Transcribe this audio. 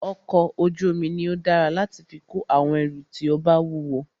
ọkọ̀ ojú omi ní o dára láti fí kó àwọn ẹrù tí o bá wúwo.